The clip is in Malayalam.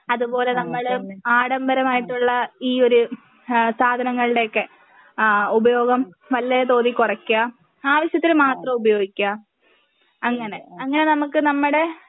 അതുപോലെ നമ്മള് ആഡംബരമായിട്ടുള്ള ഈ ഒര് ഏഹ് സാധനങ്ങളുടെയൊക്കെ ആ ഉപയോഗം നല്ല തോതിൽ കുറയ്ക്കുക ആവശ്യത്തിനുമാത്രം ഉപയോഗിക്കുക അങ്ങനെ അങ്ങനെ നമുക്ക് നമ്മടെ